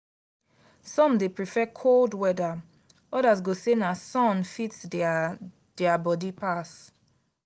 some dey prefer cold weather others go say na sun fit their their body pass.